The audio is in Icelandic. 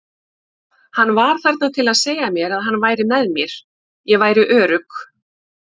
Hann var þarna til að segja mér að hann væri með mér, ég væri örugg.